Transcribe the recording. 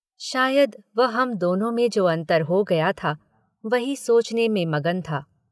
शायद वह हम दोनों में जो अन्तर हो गया था वही सोचने में मगन था।